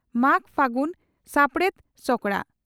ᱢᱟᱜᱽᱼᱯᱷᱟᱹᱜᱩᱱ, ᱥᱟᱯᱲᱮᱛ ᱥᱚᱠᱲᱟ